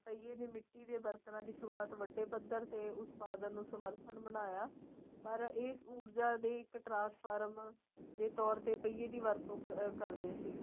ਪਈਏ ਦੇ ਮਿੱਟੀ ਦੇ ਬਰਤਨਾਂ ਦੀ ਸੁਰੂਆਤ ਵੱਡੇ ਪੱਧਰ ਤੇ ਉਤਪਾਦਨ ਨੂੰ ਸਮਰਥਨ ਬਣਾਇਆ ਪਰ ਇਸ ਊਰ੍ਜਾਂ ਦੇ ਇੱਕ trans farm ਦੇ ਤੋਰ ਤੇ ਪਈਏ ਦੀ ਵਰਤੋ ਕਰਦੇ ਸੀ